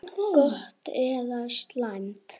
Gott eða slæmt?